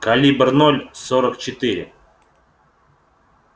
калибр ноль сорок четыре